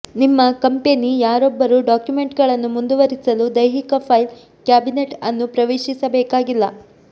ನಿಮ್ಮ ಕಂಪೆನಿ ಯಾರೊಬ್ಬರೂ ಡಾಕ್ಯುಮೆಂಟ್ಗಳನ್ನು ಮುಂದುವರಿಸಲು ದೈಹಿಕ ಫೈಲ್ ಕ್ಯಾಬಿನೆಟ್ ಅನ್ನು ಪ್ರವೇಶಿಸಬೇಕಾಗಿಲ್ಲ